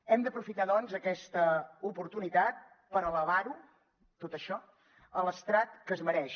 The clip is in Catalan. hem d’aprofitar doncs aquesta oportunitat per elevar ho tot això a l’estrat que es mereix